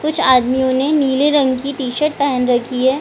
कुछ आदमियों ने नीले रंग की टी-शर्ट पेहेन रखी है।